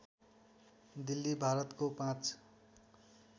दिल्ली भारतको पाँच